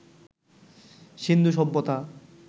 সিন্ধু সভ্যতা